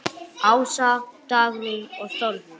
Ása, Dagrún og Þórður.